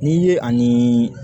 N'i ye ani